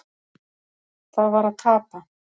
Það var að tapa.